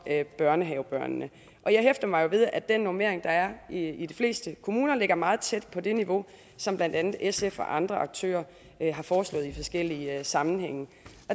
børnehavebørnene jeg hæfter mig ved at den normering der er i de fleste kommuner ligger meget tæt på det niveau som blandt andet sf og andre aktører har foreslået i forskellige sammenhænge